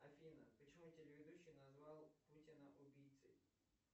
афина почему телеведущий назвал путина убийцей